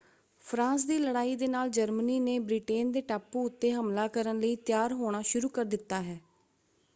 France ਦੀ ਲੜਾਈ ਦੇ ਨਾਲ ਜਰਮਨੀ ਨੇ ਬ੍ਰਿਟੇਨ ਦੇ ਟਾਪੂ ਉੱਤੇ ਹਮਲਾ ਕਰਨ ਲਈ ਤਿਆਰ ਹੋਣਾ ਸ਼ੁਰੂ ਕਰ ਦਿੱਤਾ ਹੈ।